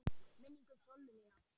Minning um Sollu mína.